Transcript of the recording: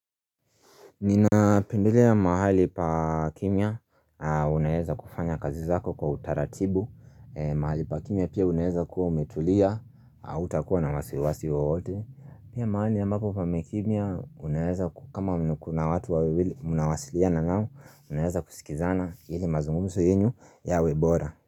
Ninapendelea mahali pa kimya, unaweza kufanya kazi zako kwa utaratibu mahali pa kimya pia unaeza kuwa umetulia, hautakuwa na wasiwasi wowote. Pia mahali ambapo pamekimya, kama kuna watu wawili mnawasiliana nao, Unaweza kusikizana ili mazungumzo yenyu yawe bora.